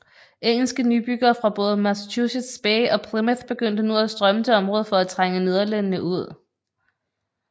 Engelske nybyggere fra både Massachusetts Bay og Plymouth begyndte nu at strømme til området for at trænge nederlænderne ud